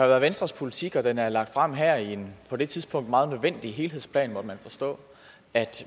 været venstres politik og den er blevet lagt frem her i en på det tidspunkt meget nødvendig helhedsplan måtte vi forstå at